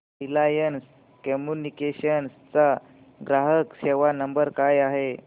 Reliance Communications चा ग्राहक सेवा नंबर काय आहे